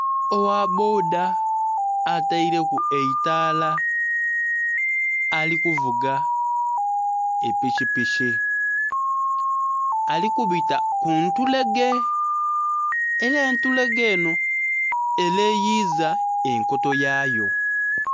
Ogha bboda ateileku eitala ali kuvuga epikipiki ali kubita ku ntulege era entulege enho eleyiiza enkoto yayo.